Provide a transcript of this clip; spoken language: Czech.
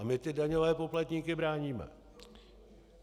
A my ty daňové poplatníky bráníme.